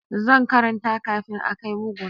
Zan karanta kafin a kai bugun